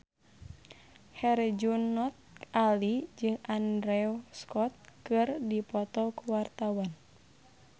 Herjunot Ali jeung Andrew Scott keur dipoto ku wartawan